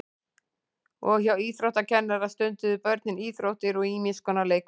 Og hjá íþróttakennara stunduðu börnin íþróttir og ýmis konar leikfimi.